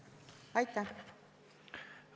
Aitäh!